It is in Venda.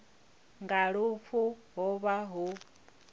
nga lufu ho vha hu